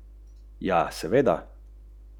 Ali je prav to tista točka popolne umestitve v družbo?